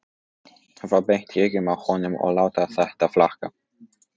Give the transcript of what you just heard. Horfa beint í augun á honum og láta þetta flakka.